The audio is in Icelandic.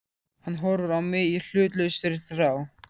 Hann horfir á mig í hlutlausri þrá.